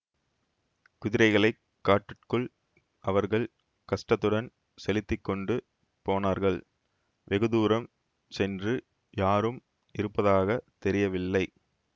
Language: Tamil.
குதிரைகளைக் காட்டுக்குள் அவர்கள் கஷ்டத்துடன் செலுத்தி கொண்டு போனார்கள் வெகு தூரம் சென்று யாரும் இருப்பதாக தெரியவில்லை